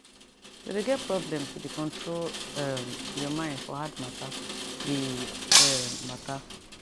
to de get problem to de control um your mine for hard matter be um matter